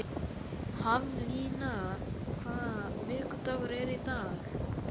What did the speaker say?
Haflína, hvaða vikudagur er í dag?